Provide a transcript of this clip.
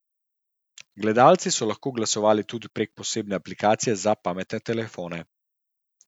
Gledalci so lahko glasovali tudi prek posebne aplikacije za pametne telefone.